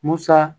Musa